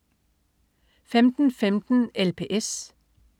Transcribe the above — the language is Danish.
15.15 LPS